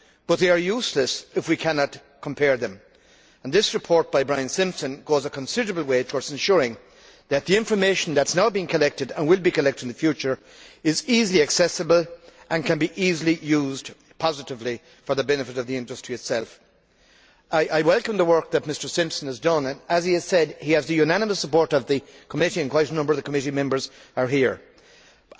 However, they are useless if we cannot compare them, and this report by Brian Simpson goes a considerable way towards ensuring that the information which is now being collected, and will be collected in the future, is easily accessible and can easily be used positively for the benefit of the industry itself. I welcome the work that Mr Simpson has done and, as he has said, he has the unanimous support of the committee and quite a number of committee members are here now.